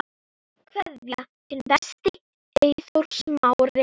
Kveðja, þinn besti, Eyþór Smári.